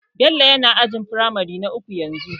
Bello yana ajin firamare na uku yanzu